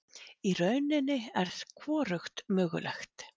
Í rauninni er hvorugt mögulegt.